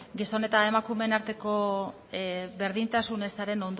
gizon eta emakumeen arteko berdintasun ezaren